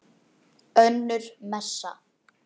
Önnur messa.